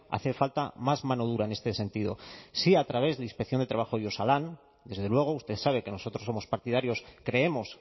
hace falta más mano dura en este sentido sí a través de inspección de trabajo y osalan desde luego usted sabe que nosotros somos partidarios creemos